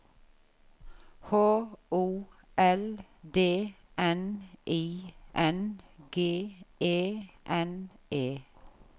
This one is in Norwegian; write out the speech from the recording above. H O L D N I N G E N E